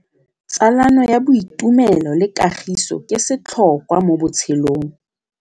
Tsalano ya boitumelo le kagiso ke setlhôkwa mo botshelong.